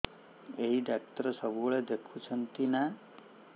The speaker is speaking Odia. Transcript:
ଏଇ ଡ଼ାକ୍ତର ସବୁଦିନେ ଦେଖୁଛନ୍ତି ନା